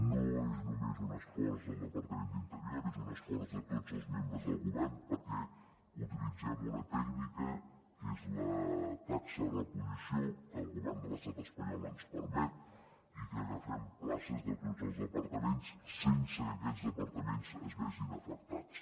no és només un esforç del departament d’interior és un esforç de tots els membres del govern perquè utilitzem una tècnica que és la taxa de reposició que el govern de l’estat espanyol ens permet i que agafem places de tots els departaments sense que aquests departaments es vegin afectats